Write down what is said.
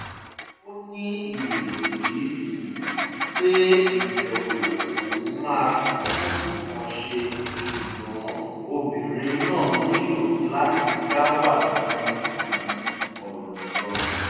ó ní ìrètí pé ìbẹ̀wò òun máa tún nǹkan ṣe ṣùgbọ́n obìnrin náà nílò láti dá wà ju um ọ̀rọ̀ lọ